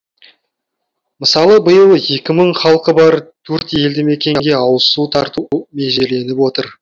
мысалы биыл екі мың халқы бар төрт елді мекенге ауызсу тарту межеленіп отыр